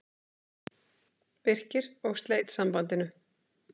Birkir og sleit sambandinu.